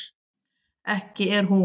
ekki er hún